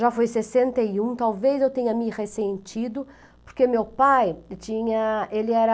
Já foi sessenta e um, talvez eu tenha me ressentido, porque meu pai tinha, ele era...